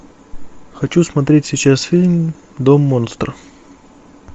хочу смотреть сейчас фильм дом монстров